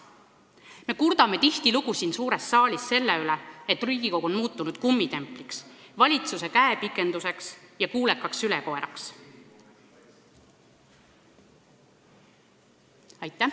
" Me kurdame tihtilugu siin suures saalis selle üle, et Riigikogu on muutunud kummitempliks, valitsuse käepikenduseks ja kuulekaks sülekoeraks.